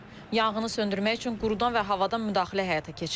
Yanğını söndürmək üçün qurudan və havadan müdaxilə həyata keçirilir.